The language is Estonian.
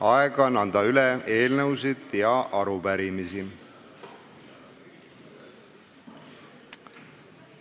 Aeg on anda üle eelnõusid ja arupärimisi.